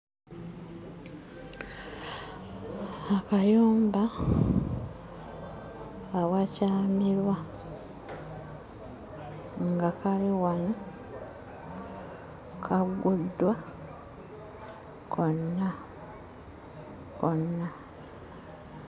Akayumba awakyamirwa nga kali wano kagguddwa konna konna.